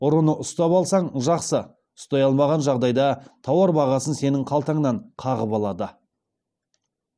ұрыны ұстап алсаң жақсы ұстай алмаған жағдайда тауар бағасын сенің қалтаңнан қағып алады